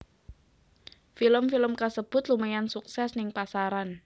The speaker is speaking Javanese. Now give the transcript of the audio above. Film film kasebut lumayan sukses ning pasaran